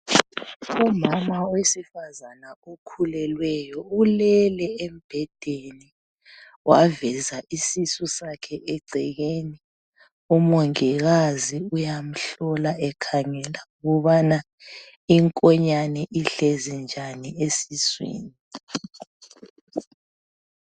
Kulomama wesifazane okhulelweyo ulele embhedeni waveza isisu sakhe egcekeni umongikazi uyamhlola ekhangela ukubana inkonyane ihlezi njani esiswini.